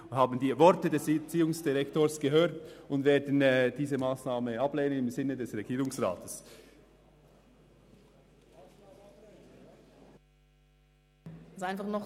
Wir haben die Worte des Erziehungsdirektors gehört und werden im Sinne des Regierungsrats stimmen.